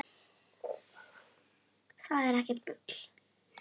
Það er ekkert bull.